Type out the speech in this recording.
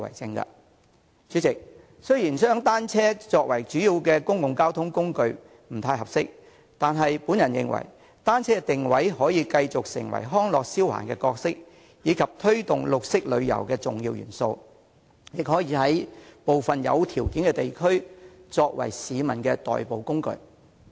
代理主席，雖然將單車作為主要公共交通工具不太合適，但我認為單車可以繼續定位為康樂消閒工具，以及推動綠色旅遊的重要元素，亦可以在部分有條件的地區作為市民的代步工具。